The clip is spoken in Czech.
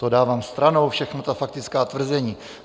To dávám stranou všechna ta faktická tvrzení.